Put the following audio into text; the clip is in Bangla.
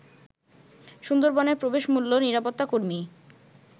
সুন্দরবনে প্রবেশ মূল্য, নিরাপত্তা কর্মী